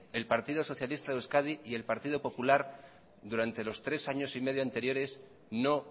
el partido socialista de euskadi y el partido popular durante los tres años y medio anteriores no